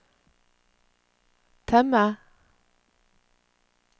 temme